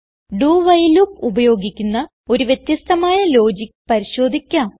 do while loop ഉപയോഗിക്കുന്ന ഒരു വ്യത്യസ്ഥമായ ലോജിക്ക് പരിശോധിക്കാം